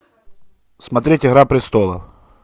смотреть игра престолов